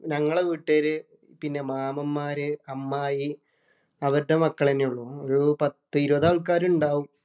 ഞങ്ങടെ വീട്ടുകാര്, പിന്നെ മാമന്മാര്, അമ്മായി, അവരുടെ മക്കള് തന്നെയുള്ളൂ. ഒരു പത്ത് ഇരുപത് ആള്‍ക്കാര് ഉണ്ടാവും.